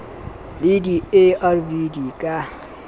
le di arv di ka